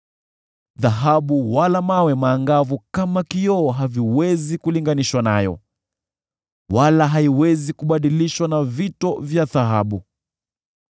Dhahabu wala mawe maangavu haviwezi kulinganishwa nayo, wala haiwezi hubadilishwa na vito vya dhahabu.